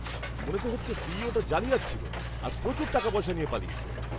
মনে তো হচ্ছে সিইওটা জালিয়াৎ ছিল আর প্রচুর টাকাপয়সা নিয়ে পালিয়েছে।